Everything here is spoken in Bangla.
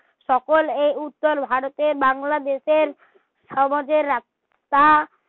সকল এ উজ্জ্বল ভারতের বাংলাদেশের সমাজের